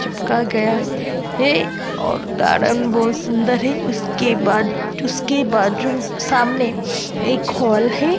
चिपका गया है और गार्डन बहुत सुंदर है उसके बाद उसके बाजू सामने एक हॉल है।